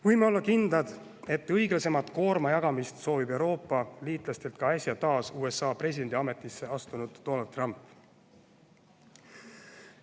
Võime olla kindlad, et õiglasemat koormajagamist soovib Euroopa liitlastelt ka äsja taas USA presidendi ametisse astunud Donald Trump.